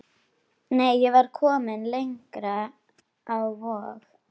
Nei, ég var komin lengra, á Vog.